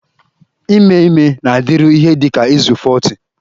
Ime ime na-adịru ihe dị ka izu 40